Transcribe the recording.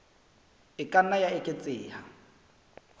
e ka nna ya eketseha